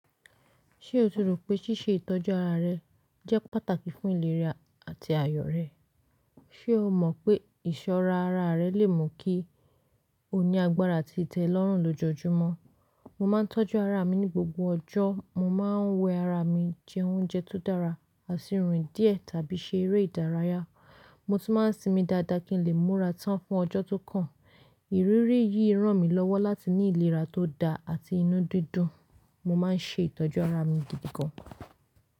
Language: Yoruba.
Ṣé o ti rò pé ṣíṣe ìtọ́jú ara rẹ jẹ́ pàtàkì fún ìlera àti àyọ̀ rẹ? Ṣé o mọ̀ pé ìṣọ́ra ara rẹ lè mú kí o ní agbára àti itẹ́lọ́rùn lójoojúmọ́? Mo máa ń tọ́jú ara mi ní gbogbo ọjọ́. Mo máa ń wẹ ara mi, jẹ oúnjẹ tó dára, aṣíríìn díẹ̀ tàbí ṣe eré ìdárayá. Mo tún máa ń sinmi dáadáa kí n lè múra tán fún ọjọ́ tó kàn. Ìrírí yìí ràn mí lọ́wọ́ láti ní ìlera tó da àti inú dídùn. Mo máa ń ṣe ìtọ́jú ara mi gidi gan.